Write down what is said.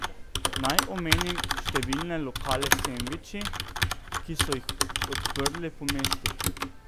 Naj omenim številne lokale s sendviči, ki so jih odprli po mestu.